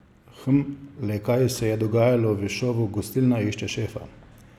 Hm, le kaj se je dogajalo v šovu Gostilna išče šefa?